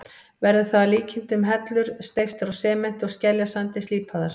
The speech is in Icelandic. Verður það að líkindum hellur steyptar úr sementi og skeljasandi, slípaðar.